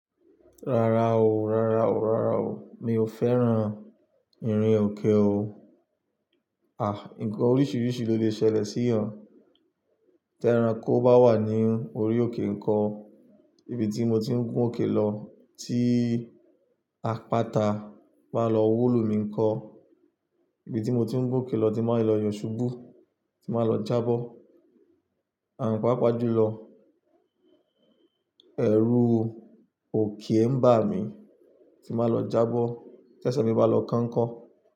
Rárá o, rárá o, rárá o. Mi ò fẹ́ràn ìrìn òkè o. Àh! Ǹkan oríṣiríṣi ló lè ṣẹlẹ̀ sí ìyẹn. Tí ẹranko bá wà ní orí òkè nǹkan, ibi tí mo ti ń gún òkè lọ, tí apáta bá lọ wó lu mi ńkọ́? Ibi tí mo ti ń gún òkè lọ, tí màá lọ yọ̀ ṣubú, tí mbàá lọ jábọ́, àǹ páápaá jù lọ. Ẹ̀rù òkè ń bà mí, tí màá lọ jábọ́, tẹ́sẹ̀ mi bá lọ kán ńkọ́?